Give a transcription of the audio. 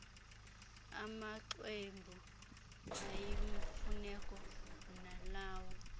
amaxwebhu ayimfuneko nalawo